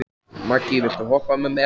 Maggý, viltu hoppa með mér?